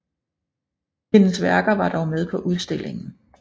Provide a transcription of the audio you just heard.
Hendes værker var dog med på udstillingen